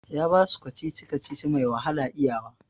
Ya basu kacici-kacici mai wahala iya wa